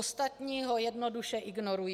Ostatní ho jednoduše ignorují.